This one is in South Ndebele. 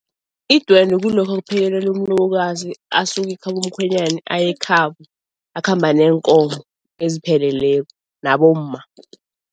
Idwende kulokha kuphekelelwa umlobokazi asuka ekhabo mkhwenyani ayekhabo, akhamba neenkomo ezipheleleko nabomma.